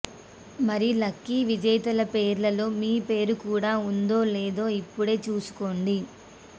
మరి లక్కీ విజేతల పేర్లలో మీ పేరు కూడా ఉందో లేదో ఇప్పుడే చూసుకోండి